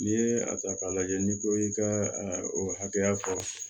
N'i ye a ta k'a lajɛ n'i ko i ka o hakɛya fɔ